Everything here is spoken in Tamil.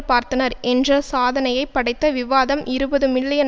பார்த்தனர் என்ற சாதனையை படைத்த விவாதம் இருபது மில்லியன்